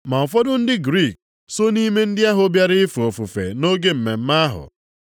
Ma ụfọdụ ndị Griik so nʼime ndị ahụ bịara ife ofufe nʼoge mmemme ahụ.